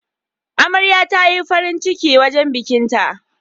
Amarya tayi farin ciki wajan bikin ta